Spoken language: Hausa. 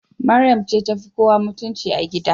Mariam ce tafi kowa mutunci a gida.